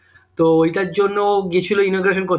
তো ওইটার জন্য ও গিয়েছিল করতে